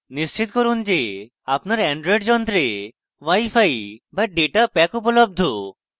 নিশ্চিত করুন যে আপনার অ্যান্ড্রয়েড যন্ত্রে wi fi fi data pack উপলব্ধ